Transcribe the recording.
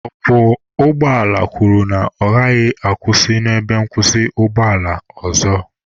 Ọkwọ ụgbọala kwuru na ya agaghị akwụsị n'ebe nkwụsị ụgbọ ala ọzọ.